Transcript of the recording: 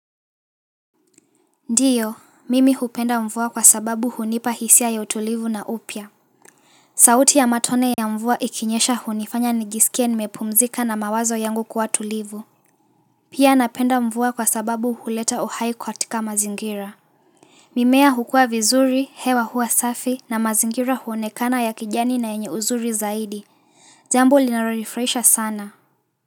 Ndiyo, mimi hupenda mvua kwa sababu hunipa hisia ya utulivu na upya sauti ya matone ya mvua ikinyesha hunifanya nijisikie nimepumzika na mawazo yangu kuwa tulivu Pia napenda mvua kwa sababu huleta uhai katika mazingira mimea hukua vizuri, hewa huwa safi na mazingira huonekana ya kijani na yenye uzuri zaidi jambo linalorifraisha sana.